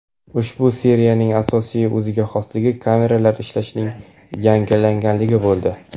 Ushbu seriyaning asosiy o‘ziga xosligi kameralar ishlashining yangilanganligi bo‘ldi.